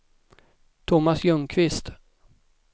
Thomas Ljungqvist